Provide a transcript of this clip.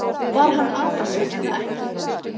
Var hann að þessu eða ekki?